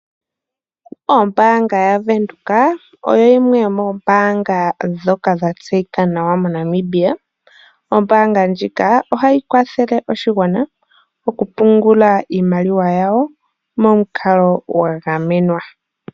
Oombanga yaVenduka oyo yimwe yomombaanga ndhoka dha tseyika nawa moNamibia. Oombanga ndjika ohai kwathele oshigwana oku pungula iimaliwa yawo momukalo gwa gamenwa .